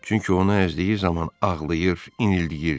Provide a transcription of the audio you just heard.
Çünki onu əzdiyi zaman ağlayır, inildəyirdi.